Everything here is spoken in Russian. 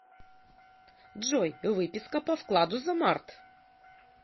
джой выписка по вкладу за март